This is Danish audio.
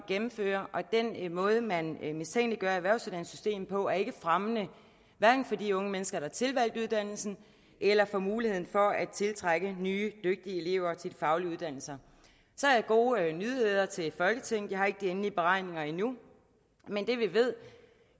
gennemfører og den måde man mistænkeliggør erhvervsuddannelsessystemet på er ikke fremmende hverken for de unge mennesker der har tilvalgt uddannelsen eller for muligheden for at tiltrække nye dygtige elever til de faglige uddannelser så har jeg gode nyheder til folketinget jeg har ikke de endelige beregninger endnu men